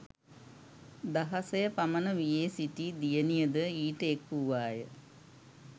දහසය පමණ වියේ සිටි දියණියද ඊට එක් වූවාය.